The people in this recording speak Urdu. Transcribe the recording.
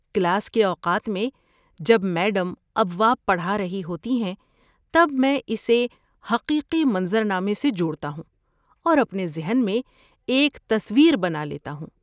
کلاس کے اوقات میں جب میڈم ابواب پڑھا رہی ہوتی ہیں تب میں اسے حقیقی منظر نامے سے جوڑتا ہوں اور اپنے ذہن میں ایک تصویر بنا لیتا ہوں۔